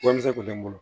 Warimisɛn kun tɛ n bolo